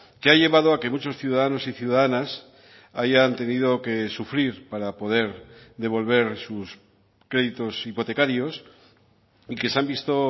que ha llevado a que muchos ciudadanos y ciudadanas hayan tenido que sufrir para poder devolver sus créditos hipotecarios y que se han visto